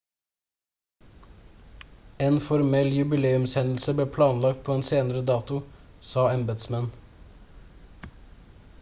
en formell jubileumshendelse ble planlagt på en senere dato sa embetsmenn